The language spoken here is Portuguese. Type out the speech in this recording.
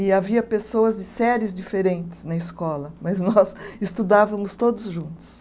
E havia pessoas de séries diferentes na escola, mas nós estudávamos todos juntos.